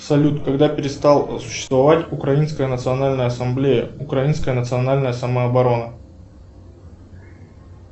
салют когда перестал существовать украинская национальная ассамблея украинская национальная самооборона